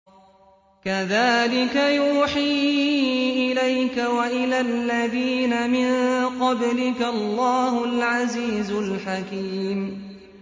كَذَٰلِكَ يُوحِي إِلَيْكَ وَإِلَى الَّذِينَ مِن قَبْلِكَ اللَّهُ الْعَزِيزُ الْحَكِيمُ